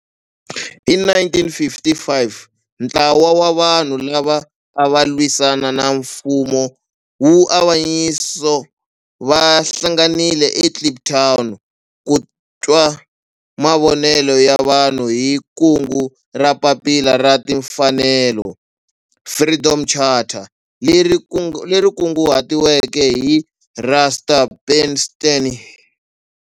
Hi 1955 ntlawa wa vanhu lava a va lwisana na nfumo wa avanyiso va hlanganile eKliptown ku twa mavonelo ya vanhu hi kungu ra Papila ra Timfanelo, Freedom Charter, leri kunguhatiweke hi Rusty Bernstein.